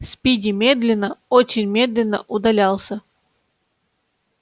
спиди медленно очень медленно удалялся